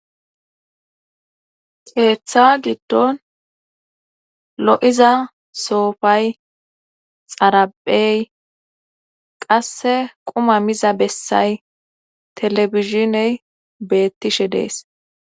Keeththa giddon lo7iza soofay xaraphey qasse quma miza bessay televishiney beettishe dees.